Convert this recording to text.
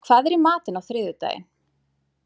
Símon, hvað er í matinn á þriðjudaginn?